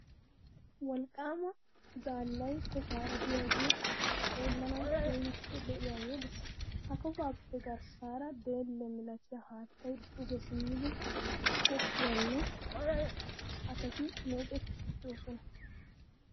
Wolqqaama zaallay kofaara de'iyagee xeellanawu keehippe lo"iyagee de'ees. Ha kofaappe garssaara deelle milatiya haattay duge simmidi goggiyagaan asati meecettiiddi de'oosona.